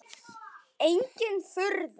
Engin furða.